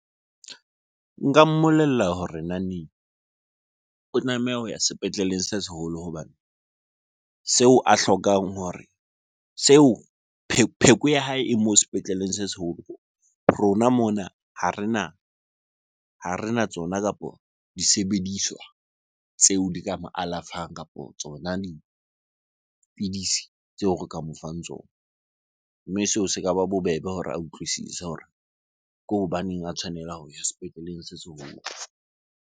Nka mmolella hore o tlameha ho ya sepetleleng se seholo hobane seo a hlokang hore, seo pheko ya hae e moo sepetleleng se seholo. Rona mona ha rena tsona kapo disebediswa tseo di ka mo alafang kapo tsona dipidisi tseo re ka mo fang tsona. Mme seo se ka ba bobebe hore a utlwisise hore ke hobaneng a tshwanela ho ya sepetleleng se seholo.